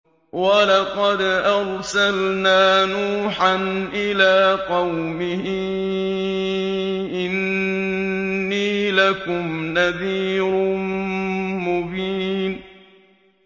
وَلَقَدْ أَرْسَلْنَا نُوحًا إِلَىٰ قَوْمِهِ إِنِّي لَكُمْ نَذِيرٌ مُّبِينٌ